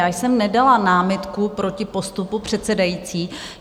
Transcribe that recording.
Já jsem nedala námitku proti postupu předsedající.